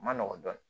Ma nɔgɔn dɔɔnin